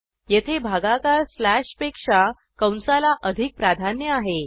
येथे भागाकार स्लॅश पेक्षा कंसाला अधिक प्राधान्य आहे